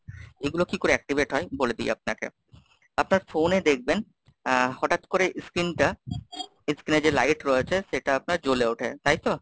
এগুলো কি করে activate হয়? বলে দিই আপনাকে আপনার phone এ দেখবেন আহ হঠাৎ করে screen টা screen এ যে light রয়েছে, সেটা আপনার জ্বলে ওঠে, তাইতো?